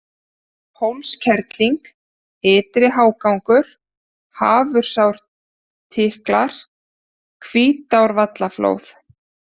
Hólskerling, Ytri-Hágangur, Hafursárstiklar, Hvítárvallaflóð